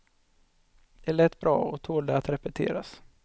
Det lät bra och tålde att repeteras.